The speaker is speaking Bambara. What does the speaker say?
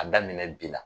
A daminɛ bi la